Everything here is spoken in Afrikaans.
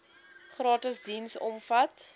gratis diens omvat